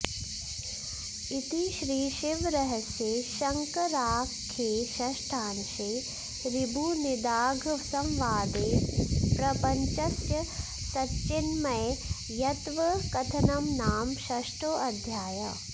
इति श्रीशिवरहस्ये शङ्कराख्ये षष्ठांशे ऋभुनिदाघसंवादे प्रपञ्चस्य सच्चिन्मयत्वकथनं नाम षष्ठोऽध्यायः